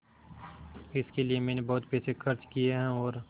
इसके लिए मैंने बहुत पैसे खर्च किए हैं और